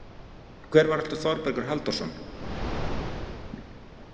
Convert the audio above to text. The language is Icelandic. Hver var aftur Þorbergur Halldórsson?